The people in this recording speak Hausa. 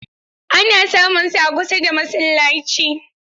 Ana samunsu a kusa da masallaci.